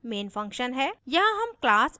यह हमारा main function है